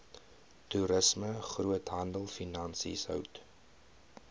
toerisme groothandelfinansies hout